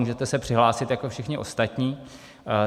Můžete se přihlásit jako všichni ostatní.